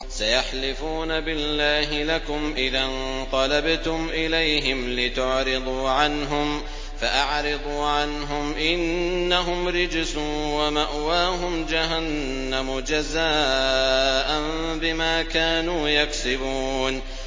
سَيَحْلِفُونَ بِاللَّهِ لَكُمْ إِذَا انقَلَبْتُمْ إِلَيْهِمْ لِتُعْرِضُوا عَنْهُمْ ۖ فَأَعْرِضُوا عَنْهُمْ ۖ إِنَّهُمْ رِجْسٌ ۖ وَمَأْوَاهُمْ جَهَنَّمُ جَزَاءً بِمَا كَانُوا يَكْسِبُونَ